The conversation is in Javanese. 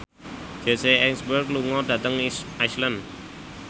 Jesse Eisenberg lunga dhateng Iceland